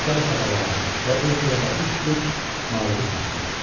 Müxtəlif adalara və ölkələrə üz tutub malımı satdım.